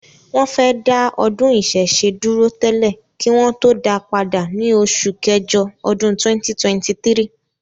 wọ́n fẹ́ dá ọdún ìṣẹ̀ṣe dúró tẹ́lẹ̀ kí wọn tó dáa padà ní oṣù kẹjọ ọdún 2023.